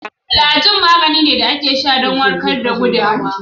Flajil magani ne wande a ke sha don warkad da gudawa